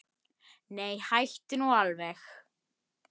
Nei, hættu nú alveg!